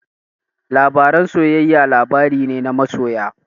Labaren soyayya labari ne na masoya.